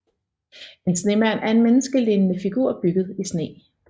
En snemand er en menneskelignende figur bygget i sne